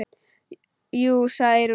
Jú, sagði Eyrún, jú.